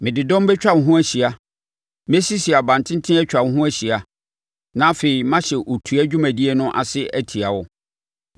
Mede dɔm bɛtwa wo ho ahyia; mɛsisi abantenten atwa wo ho ahyia na afei mahyɛ otua dwumadie no ase atia wo.